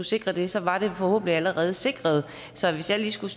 sikre det så var det forhåbentlig allerede sikret så hvis jeg lige skulle